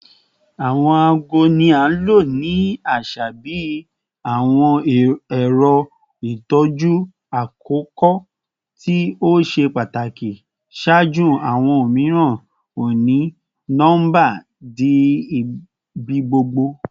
Awọn aago ni a lo ni aṣa bi awọn ẹrọ itọju akoko to ṣe pataki ṣaaju awọn omiiran oni-nọmba di ibigbogbo